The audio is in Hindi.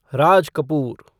राज कपूर